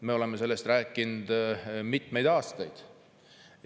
Me oleme sellest rääkinud mitmeid aastaid.